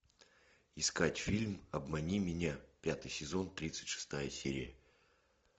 искать фильм обмани меня пятый сезон тридцать шестая серия